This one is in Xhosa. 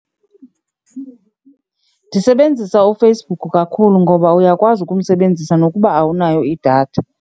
Ndisebenzisa uFacebook kakhulu ngoba uyakwazi ukumsebenzisa nokuba awunayo idatha.